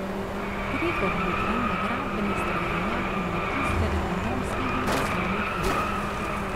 Gregor Lukan je gradbeni strokovnjak in magister ekonomskih in poslovnih ved.